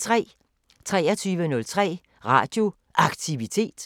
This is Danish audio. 23:03: Radio Aktivitet